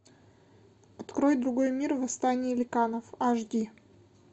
открой другой мир восстание ликанов аш ди